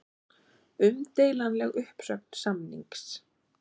Umdeilanleg uppsögn samnings